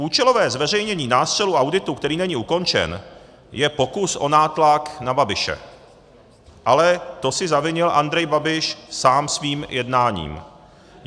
Účelové zveřejnění nástřelu auditu, který není ukončen, je pokus o nátlak na Babiše, ale to si zavinil Andrej Babiš sám svým jednáním.